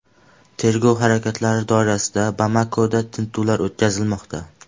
Tergov harakatlari doirasida Bamakoda tintuvlar o‘tkazilmoqda.